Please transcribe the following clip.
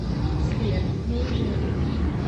сбер неужели